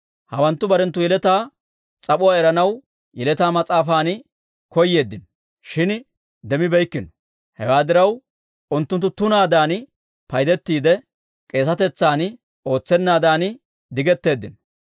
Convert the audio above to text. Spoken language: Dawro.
Hawanttu barenttu yeletaa s'ap'uwaa eranaw yeletaa mas'aafan koyeeddino, shin demmibeeykkino. Hewaa diraw, unttunttu tunaadan paydettiide, k'eesetetsan ootsennaadan digetteeddino.